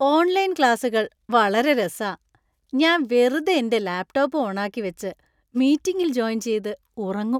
Online ക്ലാസുകൾ വളരെ രസാ. ഞാൻ വെറുതെ എന്‍റെ ലാപ്ടോപ്പും ഓണാക്കി വെച്ച് മീറ്റിംഗിൽ ജോയിൻ ചെയ്ത് ഉറങ്ങും .